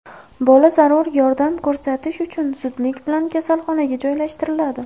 Bola zarur yordam ko‘rsatish uchun zudlik bilan kasalxonaga joylashtiriladi.